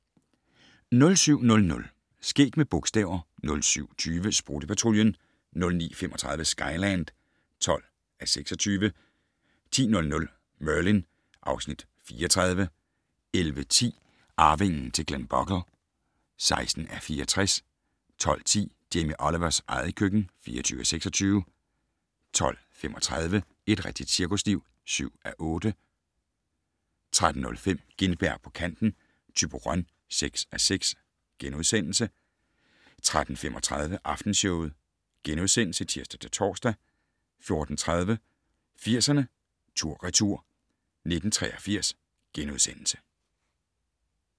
07:00: Skæg med bogstaver 07:20: Sprutte-Patruljen 09:35: Skyland (12:26) 10:00: Merlin (Afs. 34) 11:10: Arvingen til Glenbogle (16:64) 12:10: Jamie Olivers eget køkken (24:26) 12:35: Et rigtigt cirkusliv (7:8) 13:05: Gintberg på kanten - Thyborøn (6:6)* 13:35: Aftenshowet *(tir-tor) 14:30: 80'erne tur/retur: 1983 *